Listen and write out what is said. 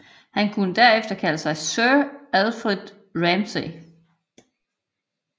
Han kunne derefter kalder sig Sir Alfred Ramsey